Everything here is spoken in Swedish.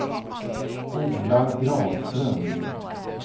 Ola Granström